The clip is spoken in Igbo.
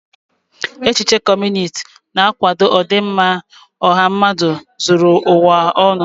Echiche Kọmunist na-akwado ọdịmma ọha mmadụ zuru ụwa ọnụ.